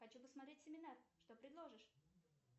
хочу посмотреть семинар что предложишь